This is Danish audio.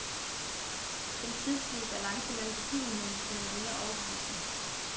Den tidslige balance mellem begivenhederne kunne være mere overbevisende.